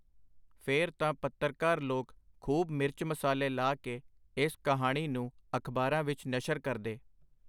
ਫੇਰ ਤਾਂ ਪੱਤਰਕਾਰ ਲੋਕ ਖੂਬ ਮਿਰਚ-ਮਸਾਲੇ ਲਾ ਕੇ ਇਸ ਕਹਾਣੀ ਨੂੰ ਅਖਬਾਰਾਂ ਵਿਚ ਨਸ਼ਰ ਕਰਦੇ.